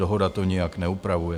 Dohoda to nijak neupravuje.